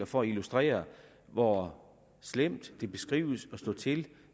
for at illustrere hvor slemt det beskrives at stå til